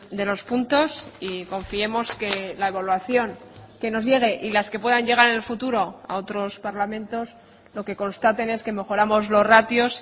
de los puntos y confiemos que la evaluación que nos llegue y las que puedan llegar en el futuro a otros parlamentos lo que constaten es que mejoramos los ratios